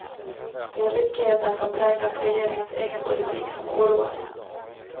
Det är ryckigheten som präglat regeringens egen politik som oroar.